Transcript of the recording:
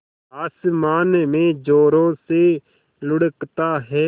आसमान में ज़ोरों से लुढ़कता है